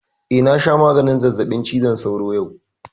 Eh, na sha maganin zazzaɓin cizon sauron yau